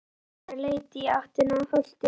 Lögmaður leit í átt að holtinu.